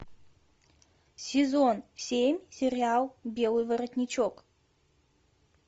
сезон семь сериал белый воротничок